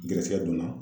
Garisɛgɛ donna